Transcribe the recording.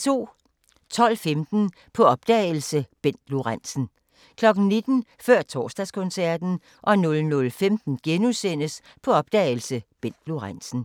12:15: På opdagelse – Bent Lorentzen 19:00: Før Torsdagskoncerten 00:15: På opdagelse – Bent Lorentzen *